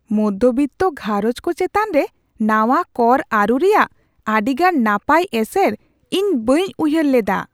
ᱢᱚᱫᱫᱷᱚ ᱵᱤᱛᱛᱚ ᱜᱷᱟᱨᱚᱸᱡᱽ ᱠᱚ ᱪᱮᱛᱟᱱ ᱨᱮ ᱱᱟᱶᱟ ᱠᱚᱨ ᱟᱹᱨᱩ ᱨᱮᱭᱟᱜ ᱟᱹᱰᱤ ᱜᱟᱱ ᱱᱟᱯᱟᱭ ᱮᱥᱮᱨ ᱤᱧ ᱵᱟᱹᱧ ᱩᱭᱦᱟᱹᱨ ᱞᱮᱫᱟ ᱾